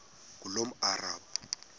ngulomarabu